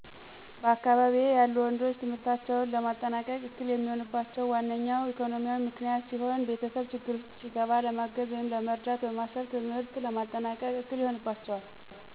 በአካባቢየ ያሉ ወንዶች ትምህርታቸውን ለማጠናቀቅ እክል የሚሆንባቸው ዋነኞው ኢኮኖሚያዊ ምክንያት ሲሆን የቤተሰብ ችግር ውስጥ ሲገባ ለማገዝ ወይም ለመርዳት በማሰብ ትምህርትን ለማጠናቀቅ እክል ይሆንባቸዋል።